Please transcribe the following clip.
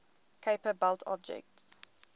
kuiper belt objects